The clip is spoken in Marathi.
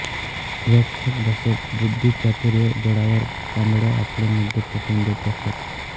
रोखठोक भाषेत बुद्धिचातुर्य बळावर कांबळे आपले मुद्दे पटवून देत असत